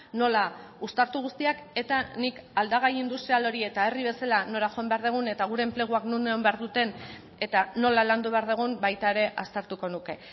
nola uztartu guztiak eta nik aldagai industrial hori eta herri bezala nora joan behar dugun eta gure enpleguak non egon behar duten eta nola landu behar dugun baita ere aztertuko nuke